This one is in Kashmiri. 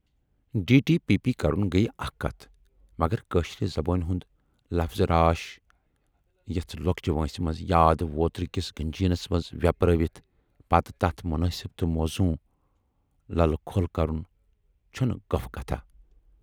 ڈی ٹی پی پی کَرُن گٔیہِ اکھ کتھ مگر کٲشرِ زبٲنۍ ہُند لفظِ راش یِژھٕ لۅکچہِ وٲنسہِ منز یادٕ ووترٕکِس گنجیٖنس منز وٮ۪پرٲوِتھ پَتہٕ تتھ مُنٲسِب تہٕ موزوٗن للہٕ کھول کَرُن چھَنہٕ گفہٕ کتھا